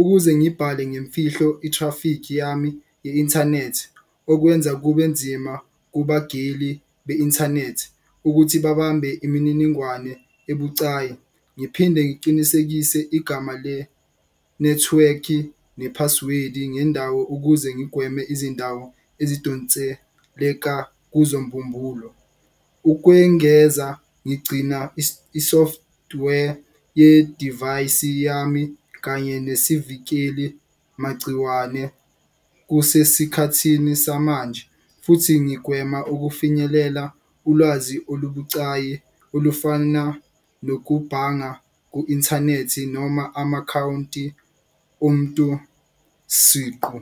ukuze ngibhale ngemfihlo i-traffic yami ye-inthanethi. Okwenza kube nzima kubagili be-inthanethi ukuthi babambe imininingwane ebucayi. Ngiphinde ngiqinisekise igama le nethiwekhi nepasiwedi ngendawo ukuze ngigweme izindawo esidonseleka kuzo mbumbulu. Ukwengeza ngigcina i-software yedivayisi yami kanye nesivikeli magciwane kusesikhathini samanje. Futhi ngigwema ukufinyelela ulwazi olubucayi olufana nokubhanga ku-inthanethi noma amakhawunti omuntu siqu.